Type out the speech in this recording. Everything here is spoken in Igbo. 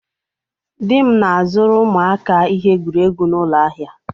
Di m na-azụrụ ụmụaka ihe egwuregwu n'ụlọ ahịa.